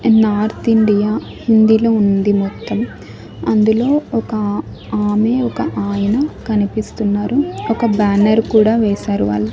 North India హిందీలో ఉంది మొత్తం అందులో ఒక ఆమె ఒక ఆయన కనిపిస్తున్నారు ఒక బ్యానర్ కూడా వేశారు వాళ్ళు.